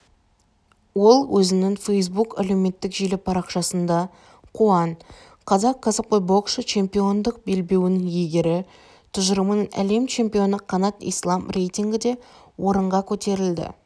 ол өзінің фейсбук әлеуметтік желі парақшасында қуан қазақ ксіпқой боксшы чемпиондық белбеуінің иегері тұжырымының лем чемпионы қанат ислам рейтингінде орынға көтерілді